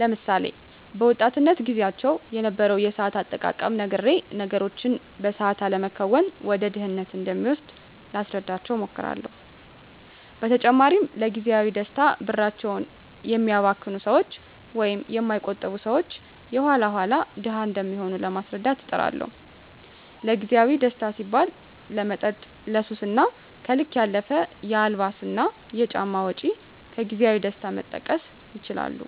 ለምሳሌ፦ በወጣትነት ግዚያቸው የነበረውን የሰአት አጠቃቀም ነግሬ ነገሮችን በሰአት አለመከወን ወደ ድህነት እንደሚወስድ ላስረዳቸው እሞክራለው። በተጨማሪም ለግዚያዊ ደስታ ብራቸውን የሚያባክኑ ሰወች ወይም የማይቆጥቡ ሰወች የኋላ ኋላ ድሀ እንደሚሆኑ ለማስረዳት እጥራለሁ። ለግዜአዊ ደስታ ሲባል ለመጠጥ፣ ለሱስ እና ከልክ ያለፈ የአልባሳትና ጫማ ወጭ ከግዜያዊ ደስታ መጠቀስ ይችላሉ።